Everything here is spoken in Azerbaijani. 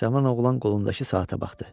Cavan oğlan qolundakı saata baxdı.